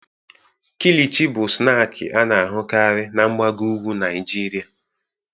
Kilichi bụ snaakị a na-ahụkarị na mgbago ugwu Naịjirịa.